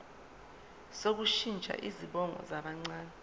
sokushintsha izibongo zabancane